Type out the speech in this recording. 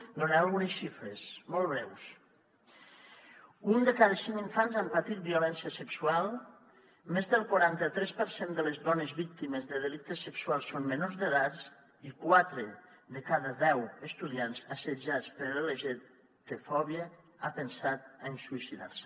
en donaré algunes xifres molt breus un de cada cinc infants han patit violència sexual més del quaranta tres per cent de les dones víctimes de delictes sexuals són menors d’edat i quatre de cada deu estudiants assetjats per lgtbi fòbia han pensat en suïcidar se